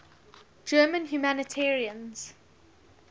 german humanitarians